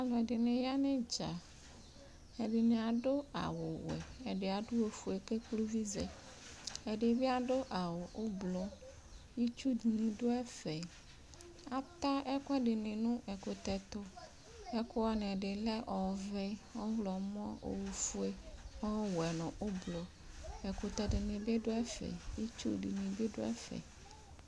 ɔlʋɛdini yanʋ idza ɛdini adʋ awʋ wɛ ɛdiadʋ oƒʋe kekple ʋvizɛ ɛdibi adʋ awʋ ʋblʋ itsʋdi dʋ ɛƒɛ ataa ɛkʋɛdini dʋ nʋ ɛkʋtɛtʋ ɛkʋɛdini lɛ ɔvɛ ɔɣlɔmɔ ɔwɛ nʋ oƒʋe ɛkʋtɛ dini bi dʋ ɛƒɛ itsʋbi dʋ ɛƒɛ